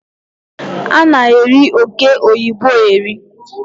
A na-eri oke oyibo eri